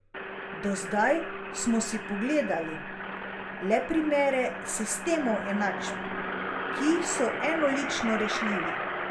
Do zdaj smo si pogledali le primere sistemov enačb, ki so enolično rešljivi.